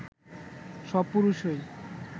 সব পুরুষই